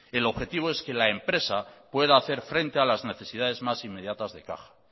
el objetivo es que la empresa pueda hacer frente a las necesidades más inmediatas de caja